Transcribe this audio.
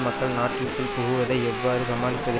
மக்கள் நாட்டில்குள் புகுவதை எவ்வாறு சமாளிப்பது